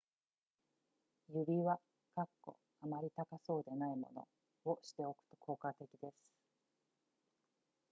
指輪あまり高そうでないものをしておくと効果的です